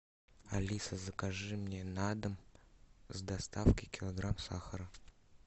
алиса закажи мне на дом с доставкой килограмм сахара